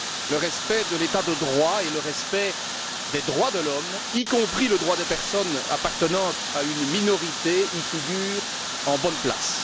Le respect de l'État de droit et le respect des droits de l'homme, y compris le droit des personnes appartenant à une minorité, y figurent en bonne place.